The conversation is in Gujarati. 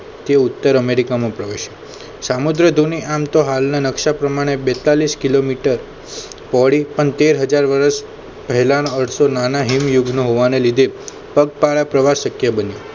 તે ઉત્તર અમેરિકામાં પ્રવેશ્યો સામુદ્રધુની આમ તો હાલના નકશા પ્રમાણે બેતાલીશ કિલોમીટર પોળી પણ તેર હાજર વર્ષ પહેલાનો અર્થ નાના હેમ યુગનો હોવાને લીધે પગપાળા પ્રવાસ શક્ય બને